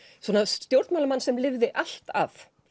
svona stjórnmálamann sem lifði allt af